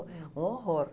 Um horror.